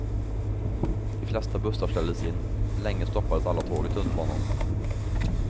De flesta bussar ställdes in, länge stoppades alla tåg i tunnelbanan.